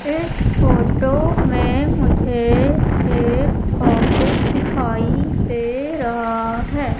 इस फोटो में मुझे एक ऑफिस दिखाई दे रहा है।